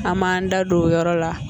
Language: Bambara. An m'an da don o yɔrɔ la